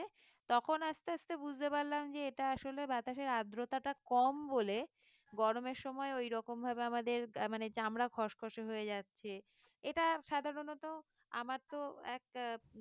তখন আস্তে আস্তে বুঝতে পারলাম যে এটা আসলে বাতাসের আদ্রতা টা কম বলে গরমের সময় ঐরকম ভাবে আমাদের আহ মানে চামড়া খসখসে হয়ে যাচ্ছে এটা সাধারণত আমার তো এক আহ